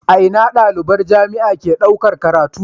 A Ina daliban jamia ke ɗaukar karatu